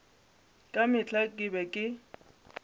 ka mehla ke be ke